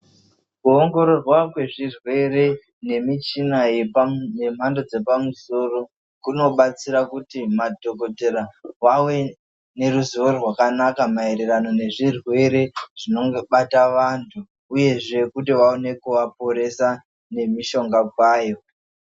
Ku ongororwa kwezvirwere nemichina yemhando dzepamsoro, kunobatsira kuti madhokotera vawe neruzivo rwakanaka mayererano nezvirwere zvinonge bata vantu, uyezve kuti vawoneke vaporesa nemishonga kwayo.